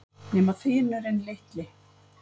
Nema þinurinn litli.